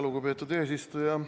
Lugupeetud eesistuja!